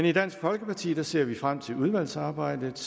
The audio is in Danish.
i dansk folkeparti ser vi frem til udvalgsarbejdet